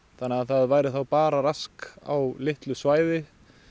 þannig að það væri þá bara rask á litlu svæði